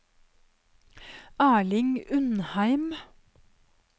Erling Undheim